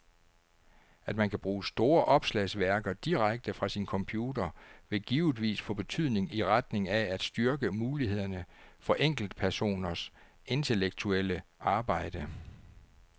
At man kan bruge store opslagsværker direkte fra sin computer vil givetvis få betydning i retning af at styrke mulighederne for enkeltpersoners intellektuelle arbejde.